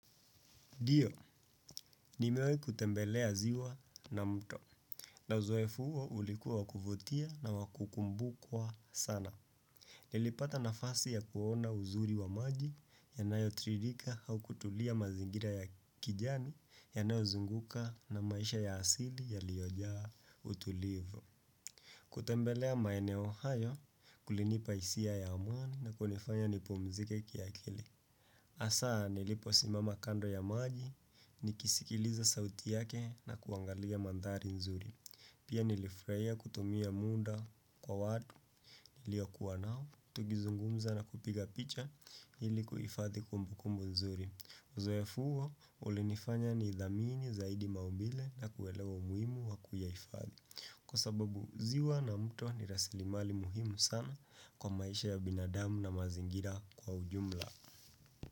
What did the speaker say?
Ndio, nimewai kutembelea ziwa na mto. Na uzoefu huko ulikuwa kuvutia na wakukumbukwa sana. Nilipata nafasi ya kuona uzuri wa maji yanayotiririka au kutulia mazingira ya kijani yanayozunguka na maisha ya asili yaliyojaa utulivu. Kutembelea maeneo hayo kulinipa hisia ya amani na kunifanya nipumzike kiakili. Hasa, niliposimama kando ya maji, nikisikiliza sauti yake na kuangalia mandhari nzuri. Pia nilifurahia kutumia muda kwa watu, niliokuwa nao, tugizungumza na kupiga picha ili kuhifathi kumbukumbu nzuri. Uzoefu huo, ulinifanya nidhamini zaidi maumbile na kuelewa muhimu wa kuyahifathi. Kwa sababu, ziwa na mto ni rasilimali muhimu sana kwa maisha ya binadamu na mazingira kwa ujumla.